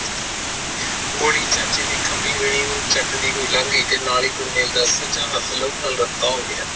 ਗੋਲੀ ਚਾਚੇ ਦੇ ਘਬੀ ਦੀ ਵੀਣੀ ਨੂੰ ਚੱਟਦੀ ਹੋਈ ਲੰਗ ਗਯੀ ਨਾਲੇ ਗੁਰਮਿਲ ਦਾ ਸੱਜਾ ਹੱਥ ਲਹੂ ਨਾਲ ਰਤਾ ਹੋ ਗਯਾ